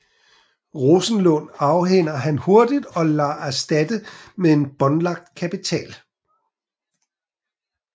Rosenlund afhænder han hurtigt og lader erstatte med en båndlagt kapital